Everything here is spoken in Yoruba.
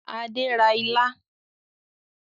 Adé ra ilá